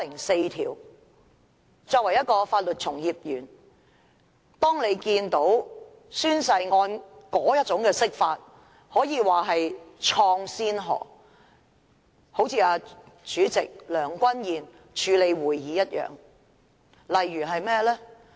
身為法律從業員，當你看到有關宣誓案作出的那種釋法，可以說是開創先河，好像主席梁君彥議員處理會議一樣。